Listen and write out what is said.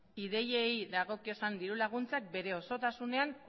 ideiei dagokien dirulaguntzak bere osotasunean